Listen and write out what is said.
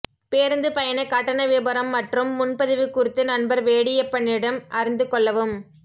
பேருந்து பயண கட்டண விபரம் மற்றும் முன்பதிவு குறித்து நண்பர் வேடியப்பனிடம் அறிந்து கொள்ளவும்